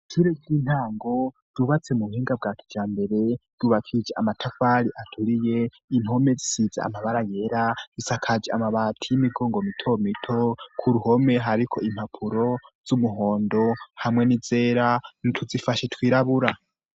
Ishure ry'intango yubatse mu buhinga bwacu ca mbere rubakije amatavari aturiye intome zisize amabara yera isakaje amabati y'imigongo mito mito ku ruhome hariko impapuro z'umuhondo hamwe n'izera nituzifashe twirabura.